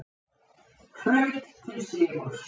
Hraut til sigurs